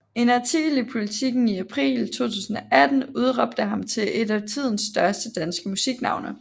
En artikel i Politiken i april 2018 udråbte ham til et af tidens største danske musiknavne